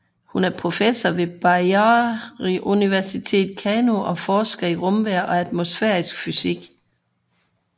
Hun er professor ved Bayero University Kano og forsker i rumvejr og atmosfærisk fysik